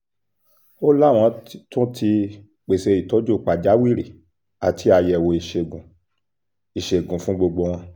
ó láwọn tún ti pèsè ìtọ́jú pàjáwìrì àti àyẹ̀wò ìṣègùn ìṣègùn fún gbogbo wọn